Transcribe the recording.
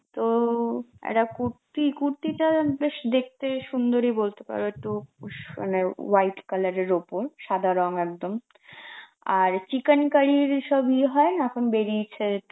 তো একটা কুর্তি~ কুর্তিটা বেশ দেখতে সুন্দরী বলতে পারো একটু উস~ মানে white colour এর ওপর, সাদা রং একদম. আর চিকেনকারীর সব ইয়ে হয় না, এখন বেরিয়েছে